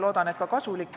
Loodan, et ka kasulik.